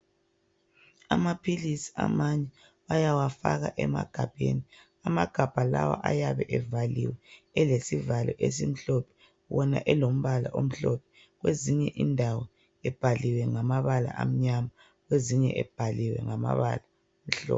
Amaphilisi amanye bayawafaka emagabheni amagabha lawa ayabe evaliwe elesivalo esimhlophe wona elombala omhlophe kwezinye indawo ebhaliwe ngamabala amnyama kwezinye ebhaliwe ngamabala amhlophe.